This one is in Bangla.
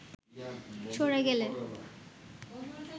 সরে গেলে